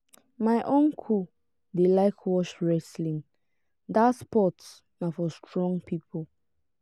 my uncle dey like watch wrestling dat sport na for strong pipo.